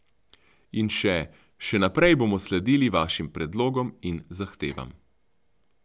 In še: 'Še naprej bomo sledili vašim predlogom in zahtevam.